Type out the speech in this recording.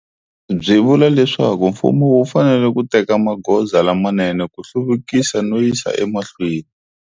Byi vula leswaku mfumo wu fanele ku teka magoza lamanene ku hluvukisa no yisa emahlweni.